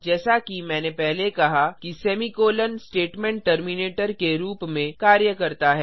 जैसा कि मैंने पहले कहा कि सेमीकोलों स्टेटमेंट टर्मिनेटर के रूप में कार्य करता है